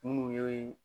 Minnu ye